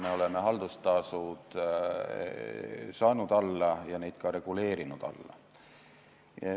Me oleme haldustasud alla saanud ja neid ka reguleerinud alla.